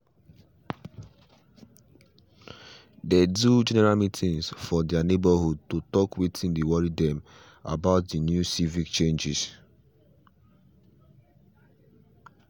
they do general meetings for their neighborhood to talk wetin dey worry them about the new civic changes